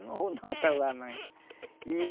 Não vou não para lá mais. E